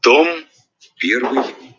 том первый